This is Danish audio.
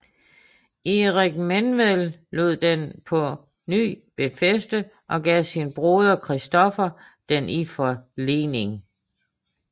Erik Menved lod den på ny befæste og gav sin broder Christoffer den i forlening